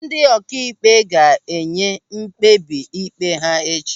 Ndị ọkaikpe ga-enye mkpebi ịkpe ha echi.